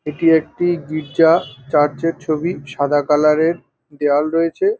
এইটি একটি গির্জা চার্চ -এর ছবি সাদা কালার -এর দেওয়াল রয়েছে ।